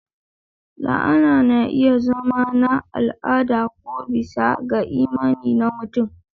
La'ana na iya zama na al'ada ko bisa ga imani na mutum.